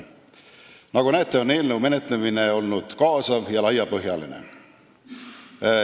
Nagu näete, on eelnõu menetlemine olnud kaasav ja laiapõhjaline.